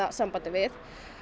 sambandi við